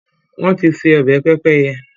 wọ́n ti se “ọbẹ̀ pẹ́pẹ́yẹ”.